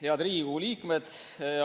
Head Riigikogu liikmed!